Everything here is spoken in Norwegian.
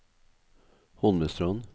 Holmestrand